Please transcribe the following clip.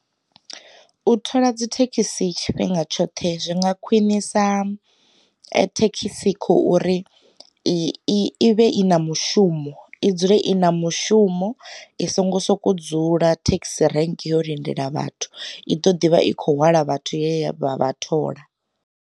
U thola dzi thekhisi tshifhinga tshoṱhe zwi nga khwinisa thekhisi khouri, i vhe i na mushumo i dzule i na mushumo i songo soko dzula thekhisi rank yo lindela vhathu, i ḓo ḓivha i khou wela vhathu ye vha vha thola.